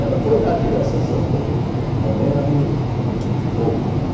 Ela foi lá tirar essa sa... Porque mamãe era meio fogo, né?